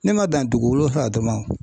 Ne ma dan dugu wolonfila dun ma